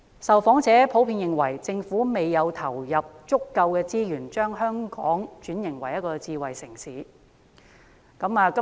受訪者普遍認為政府未有投入足夠資源，將香港轉型為智慧城市。